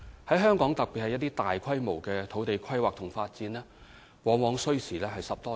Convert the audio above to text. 在香港，特別是大規模的土地規劃和發展，往往需時10多年。